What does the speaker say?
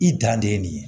I dan de ye nin ye